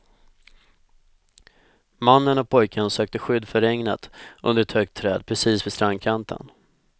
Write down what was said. Mannen och pojken sökte skydd för regnet under ett högt träd precis vid strandkanten.